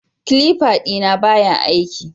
Clipper dina baya aiki